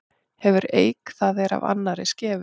Hefur eik það er af annarri skefur.